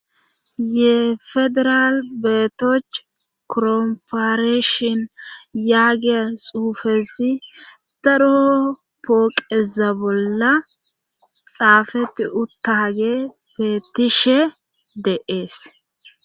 Ye federal beetoch koromparishin yaagiya suufesi daro pooqeza bolla xaafeti uttaage feettishe de7ees.